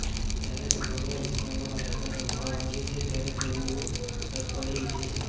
જ્યારે સમગ્ર વિશ્વમાં ભારતનો ડંકો વાગે છે ત્યારે તેઓ તડપડી ઉઠે છે